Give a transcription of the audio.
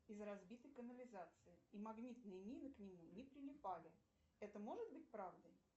из разбитой канализации и магнитные мины к нему не прилипали это может быть правдой